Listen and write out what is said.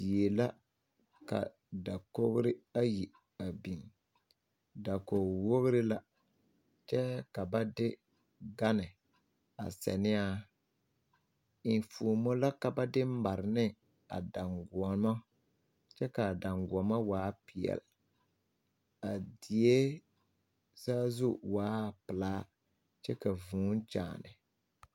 Die la ka dakogri ayi biŋ dakogi wogri la kyɛ ka ba de gane a ziŋ ne a enfuomo ba mine ka ba de mare ne a dagoɔma kyɛ ka a daŋkoɔma waa bompeɛle a die saazu waa pelaa kyɛ ka vūū kyaana.